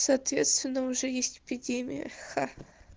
соответственно уже есть эпидемия ха